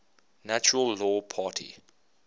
natural law party